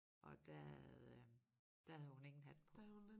Og der havde øh der havde hun ingen hat på